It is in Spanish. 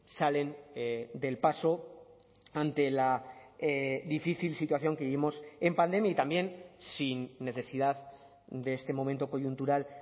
salen del paso ante la difícil situación que vivimos en pandemia y también sin necesidad de este momento coyuntural